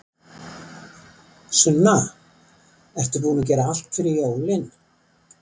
Sunna: Ertu ekki búin að gera allt fyrir jólin?